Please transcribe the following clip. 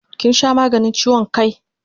Kin sha maganin chiwon kai?